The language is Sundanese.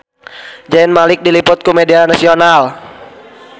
Zayn Malik diliput ku media nasional